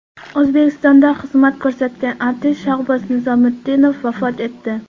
O‘zbekistonda xizmat ko‘rsatgan artist Shahboz Nizomiddinov vafot etdi.